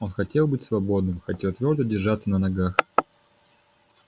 он хотел быть свободным хотел твёрдо держаться на ногах